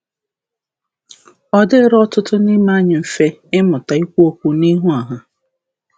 Ọ dịrịghị ọtụtụ n’ime anyị mfe ịmụta ikwu okwu n’ihu ọha.